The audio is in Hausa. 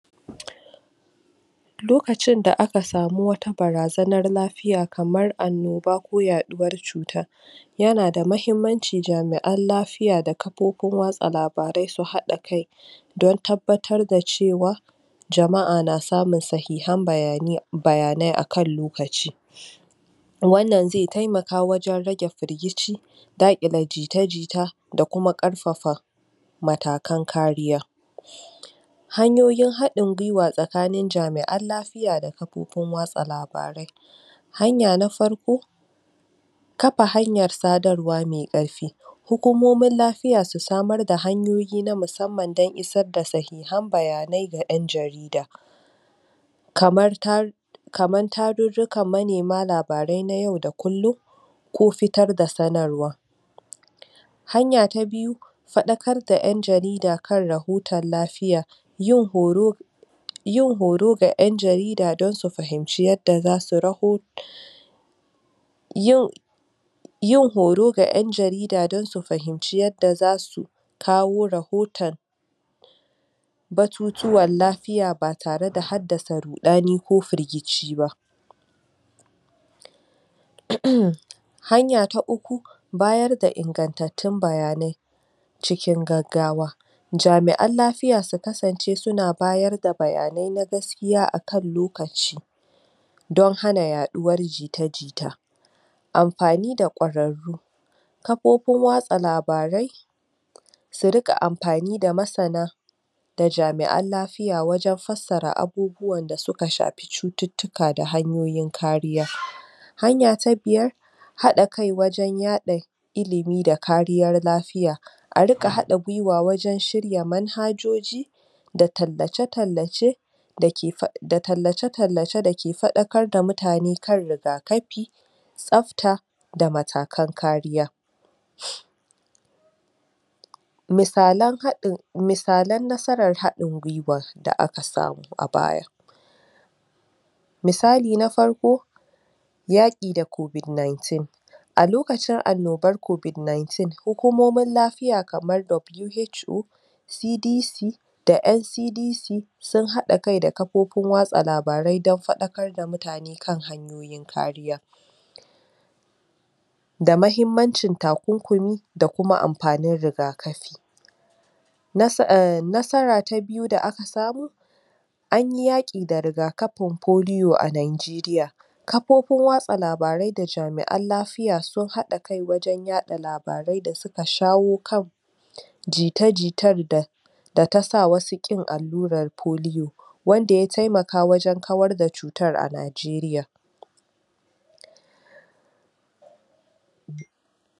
Lokacin da aka samu wata barazanar lafiya kamar anoba ko yaduwar cuta. yana da muhimmanci jami'an lafiya da kafofin watsa labarai su hada kai don tabbatar da cewa jama'a na samun sahihan bayanai akan lokaci. wana zai taimaka wajen rage firgice da ƙyele jita-jita da kuma karfafa matakan kariya. hanyoyin hadin gwiwa tsakanin jami'an lafiya da kafofin watsa labarai. Hanya na farko kafa hanyar sadarwa mai karfe: hukumomin lafiya su samar da hanyoyi na musamman dan isar da sahihan bayanai ga yan jarida, kaman tarurukan manaima labarai na yau da kullum ko fitar da sanarwar. Hanya ta biyu; fadakar da yan jarida kan rahoton Lafiya, yin horo ga yan jarida dan su fahimci yada zasu rahoton yau yau horo ga yan jarida dan su fahimci yada zasu kawo rahoton batutuwan lafiya bata rada haddasa ruɗani ko firgice ba, uhmmm..."Hanya uku; bayar da ingantatun bayanai cikin gaggawa:jami'an lafiya suka sance suna bayar da bayanai na gaskiya akan lokaci don hana yaɗuwar jita-jita Amfani da kwararru kafofin watsa labarai su rika amfani da masan da jami'an lafiya wajan fassara abubuwan dasuka shafi cututtuka da hanyoyin kariya. Hanya ta biyar; hada kai wajan yadda ilimi da kariyar lafiya:Arika hada gwiwa wajan shirya man hajoji da tallace-tallace dake fadakar da mutane kan riga kafi, tsabta, da matakan kariya Misalan hadin, misalan nasarar hadin gwiwar da aka samu a baya; Misali na farko yake da COVID-19, a lokacin annubar cutar COVID-19 hukumomin lafiya kamar WHO, ,CDC,da NCDC sun hada kai da kafofin watsa labarai dan fadakar da mutane kan hanyoyin kariya da muhimmanci takurkumi da kuma amfani riga kafi Nasara ta biyu da aka samu anyi yake da riga kafi polio a Nigeria kafofin watsa labarai da jami'an lafiya sun hada kai wajan yadda labarai da suka shawo kan kan jita-jitan da da ta sa wasu kinyin allura polio Wanda ya taimaka wajen kawar da cutar a Nigeria